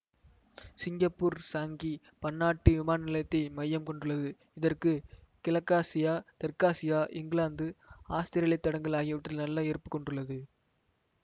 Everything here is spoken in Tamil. சிங்கப்பூர் சாங்கி பன்னாட்டு விமானநிலையத்தை மையம் கொண்டுள்ளது இதற்கு கிழக்காசியா தெற்காசியா இங்கிலாந்துஆஸ்திரேலியத் தடங்கள் ஆகியவற்றில் நல்ல இருப்பு கொண்டுள்ளது